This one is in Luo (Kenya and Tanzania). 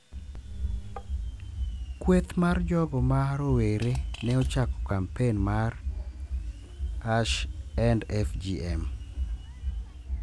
Kweth mar jogo ma rowere ne ochako kampen mar #EndFGM.